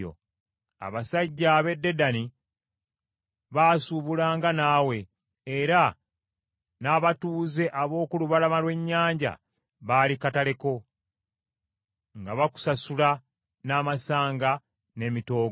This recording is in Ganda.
“ ‘Abasajja ab’e Dedani baasuubulanga naawe, era n’abatuuze ab’oku lubalama lw’ennyanja baali katale ko, nga bakusasula n’amasanga n’emitoogo.